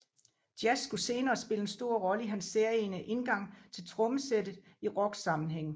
Jazz skulle senere spille en stor rolle i hans særegne indgang til trommesættet i rocksammenhæng